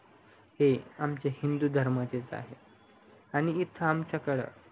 हे आमचे हिंदू धर्माचेच आहे आणि इथ आमच्याकड